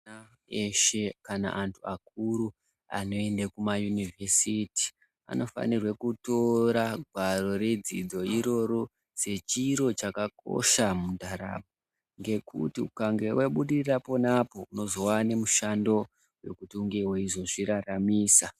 Ana eshe kana antu akuru anoende kuma yuniversity anofanire kutora gwaro redzidzo iroro sechiro chakakosha muntaramo, ngekuti ukange wabudirira apo neapo mazuvaano unozowane mushando wekuti unenge wezviraramisa